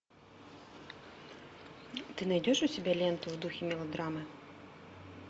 ты найдешь у себя ленту в духе мелодрамы